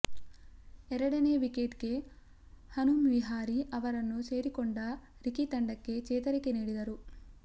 ಎರಡನೇ ವಿಕೆಟ್ ಗೆ ಹನುಮ್ ವಿಹಾರಿ ಅವರನ್ನು ಸೇರಿಕೊಂಡ ರಿಕಿ ತಂಡಕ್ಕೆ ಚೇತರಿಕೆ ನೀಡಿದರು